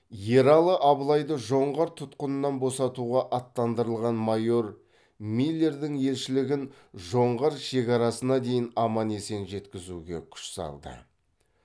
ералы абылайды жоңғар тұтқынынан босатуға аттандырылған майор миллердің елшілігін жоңғар шекарасына дейін аман есен жеткізуге күш салды